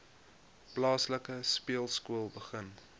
plaaslike speelskool begin